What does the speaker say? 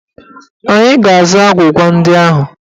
Anyị ga-aza agwụgwa ndị ahụ.